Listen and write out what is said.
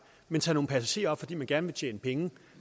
man tager nogle passagerer op fordi man gerne vil tjene penge